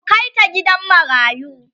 ku Kai ta gidan marayu!